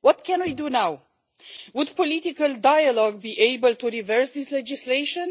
What can we do now? Would political dialogue be able to reverse this legislation?